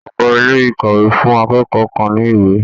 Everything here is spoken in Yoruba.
Ọ̀gá ilé-ìkàwé fún akẹ́kọ̀ọ́ kàn ní ìwé.